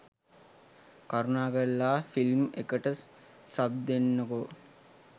කරුණාකරලා ෆිල්ම් එකට සබ් දෙන්නකෝ